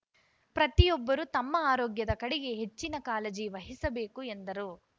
ಪ್ರತಿಯೊಬ್ಬರು ತಮ್ಮ ಆರೋಗ್ಯದ ಕಡೆಗೆ ಹೆಚ್ಚಿನ ಕಾಳಜಿ ವಹಿಸಬೇಕು ಎಂದರು